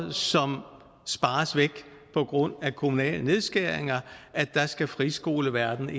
spares væk på grund af kommunale nedskæringer skal friskoleverdenen